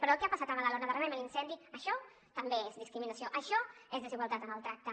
però el que ha passat a badalona darrerament l’incendi això també és discriminació això és desigualtat en el tracte